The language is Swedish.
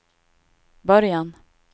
början